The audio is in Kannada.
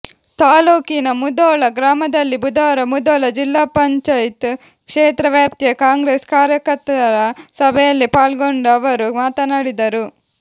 ತಾಲೂಕಿನ ಮುಧೋಳ ಗ್ರಾಮದಲ್ಲಿ ಬುಧವಾರ ಮುಧೋಳ ಜಿಪಂ ಕ್ಷೇತ್ರ ವ್ಯಾಪ್ತಿಯ ಕಾಂಗ್ರೆಸ್ ಕಾರ್ಯಕರ್ತರ ಸಭೆಯಲ್ಲಿ ಪಾಲ್ಗೊಂಡು ಅವರು ಮಾತನಾಡಿದರು